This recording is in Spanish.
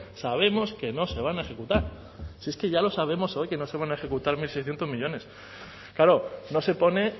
sabemos que no se van a ejecutar si es que ya lo sabemos hoy que no se van a ejecutar mil seiscientos millónes claro no se pone